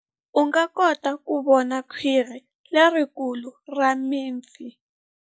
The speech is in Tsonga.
U nga kota ku vona khwiri lerikulu ra mipfi.